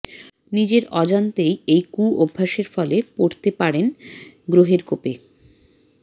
নিজের অজান্তেই এই কুঅভ্যাসের ফলে পড়তে পারেন গ্রহের কোপে